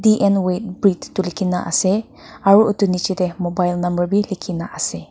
dn weight bridge likhe kina ase aru etu niche te mobile number bhi likhe kina ase.